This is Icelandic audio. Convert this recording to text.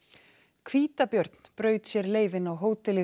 hvítabjörn braut sér leið inn á hótelið